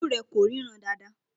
Ojú rẹ kò ríran dáadáa.